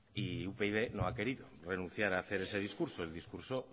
y upyd no ha querido renunciar a hacer ese discurso el discurso